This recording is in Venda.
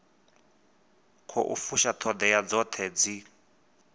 khou fusha ṱhoḓea dzoṱhe dzi